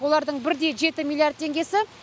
олардың бірде жеті миллиард теңгесі